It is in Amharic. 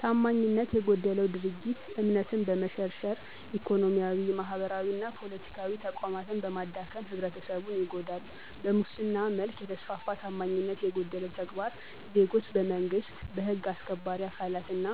ታማኝነት የጎደለው ድርጊት እምነትን በመሸርሸር፣ ኢኮኖሚያዊ፣ ማህበራዊና ፖለቲካዊ ተቋማትን በማዳከም ህብረተሰቡን ይጎዳል። በሙስና መልክ የተስፋፋ ታማኝነት የጎደለው ተግባር ዜጎች በመንግስት፣ በህግ አስከባሪ አካላት እና